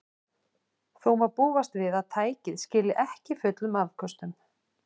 Þó má búast við að tækið skili ekki fullum afköstum.